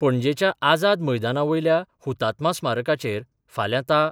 पणजेच्या आझाद मैदाना वयल्या हुतात्मा स्मारकाचेर फाल्या ता.